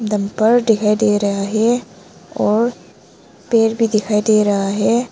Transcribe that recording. दिखाई दे रहा है और पेड़ भी दिखाई दे रहा है।